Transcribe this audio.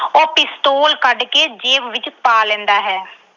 ਉਹ pistol ਕੱਢ ਕੇ ਜੇਬ ਵਿੱਚ ਪਾ ਲੈਂਦਾ ਹੈ।